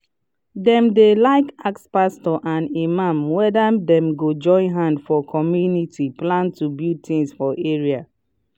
dem de like ask pastors and imam wether dem go join hand for community plan to build things for area